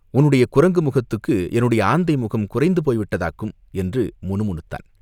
"உன்னுடைய குரங்கு முகத்துக்கு என்னுடைய ஆந்தை முகம் குறைந்து போய்விட்டதாக்கும்!" என்று முணு முணுத்தான்.